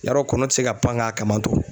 Yarɔ kɔnɔ tɛ se ka pan k'a kama to.